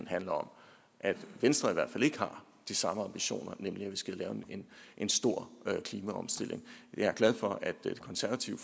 handler om at venstre i hvert fald ikke har de samme ambitioner nemlig at vi skal have en stor klimaomstilling jeg er glad for at det konservative